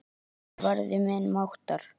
Hann varði minni máttar.